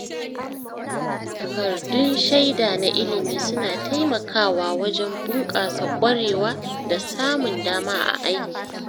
Takardun shaida na ilimi suna taimakawa wajen bunƙasa ƙwarewa da samun dama a aiki.